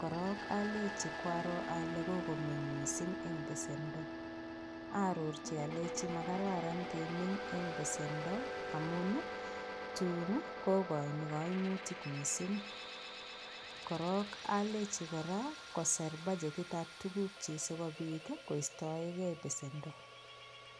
korok alechi kwaro ale kokomeny missing en besendo aarorchi alei makararan kemeny eng besendo amun tuun kokoini koimutik missing korok alechi kora koser badgetit ap tukuk chi sikopit koistoeke besendo.